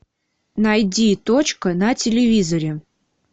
найди точка на телевизоре